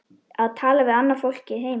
Að tala við fólkið heima.